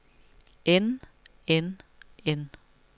end end end